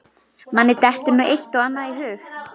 Manni dettur nú eitt og annað í hug.